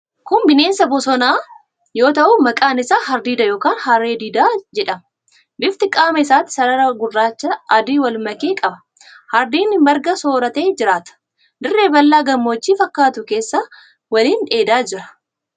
Kun bineensa bosonaa yoo ta'u maqaan isaa hardiida yookaan harree didaa jedhama. Bifti qaama isaatii sarara gurraachaa adii wal make qaba. Hardiidni marga sooratee jiraata. Dirree bal'aa gammoojjii fakkaatu keessa waliin dheedaa jira.